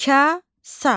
Kasa.